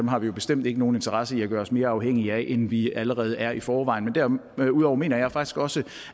har vi bestemt ikke nogen interesse i at gøre os mere afhængige af rusland end vi allerede er i forvejen derudover mener jeg faktisk også